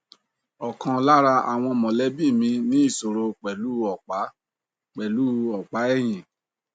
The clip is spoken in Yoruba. ọkan lára àwọn mọlẹbi mi ní ìṣòro pẹlú u ọpa pẹlú u ọpa ẹyìn